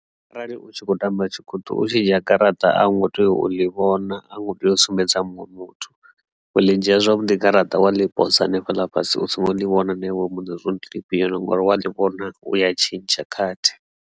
Arali u tshi kho tamba tshikhuṱhu tshi dzhia garaṱa a ngo tea u ḽi vhona a ngo tea u sumbedza muṅwe muthu we ḽi nzhia zwavhuḓi garaṱa wa ḽi pose hanefhaḽa fhasi u songo ḽi vhona na iwe mune zwauri ndi ḽifhio ngori wa ḽi vhona u ya tshintsha khathi.